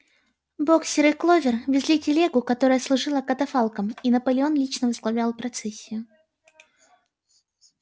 боксёр и кловер везли телегу которая служила катафалком и наполеон лично возглавлял процессию